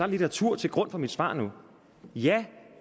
litteratur til grund for mit svar ja